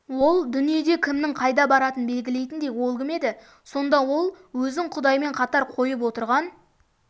ол дүниеде кімнің қайда баратынын белгілейтіндей ол кім еді сонда ол өзін құдаймен қатар қойып отырған